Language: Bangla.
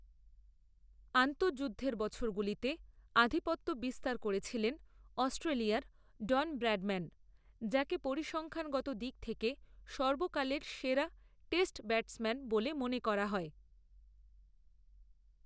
আন্তঃযুদ্ধের বছরগুলিতে আধিপত্য বিস্তার করেছিলেন অস্ট্রেলিয়ার ডন ব্র্যাডম্যান, যাঁকে পরিসংখ্যানগত দিক থেকে সর্বকালের সেরা টেস্ট ব্যাটসম্যান বলে মনে করা হয়।